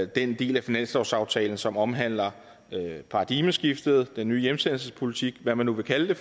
den del af finanslovsaftalen som omhandler paradigmeskiftet den nye hjemsendelsespolitik hvad man nu vil kalde